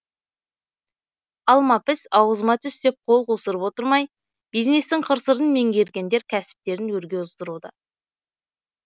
алма піс аузым түс деп қол қусырып отырмай бизнестің қыр сырын меңгергендер кәсіптерін өрге оздыруда